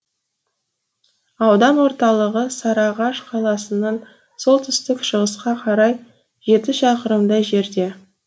аудан орталығы сарыағаш қаласынан солтүстік шығысқа қарай жеті шақырымдай жерде